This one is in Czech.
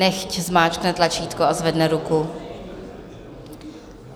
Nechť zmáčkne tlačítko a zvedne ruku.